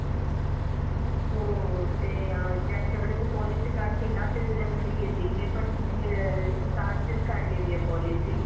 इथे आंबड मध्ये आणि औरंगाबाद आणि इथे औरंगाबाद मध्ये खुप नुकसान झालेले होते आणि जालना मध्ये आणि तुर्की मध्ये तर खुप